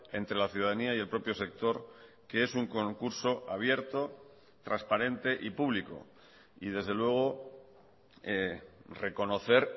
entre la ciudadanía y el propio sector que es un concurso abierto transparente y público y desde luego reconocer